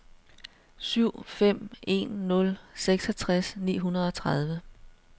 syv fem en nul seksogtres ni hundrede og tredive